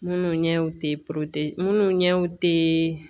Minnu ɲɛw te porote minnu ɲɛw tee